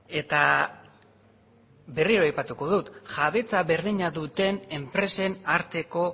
eta berriro aipatuko dut jabetza berdina duten enpresen arteko